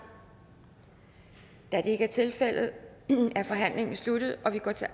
da det ikke er tilfældet er forhandlingen sluttet og vi går til